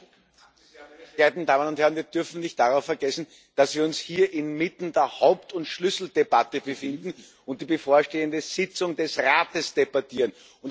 Herr Präsident, werte Damen und Herren! Wir dürfen nicht vergessen, dass wir uns hier inmitten der Haupt und Schlüsseldebatte befinden und die bevorstehende Tagung des Rates debattieren.